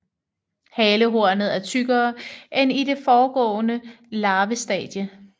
Halehornet er tykkere end i det foregående larvestadie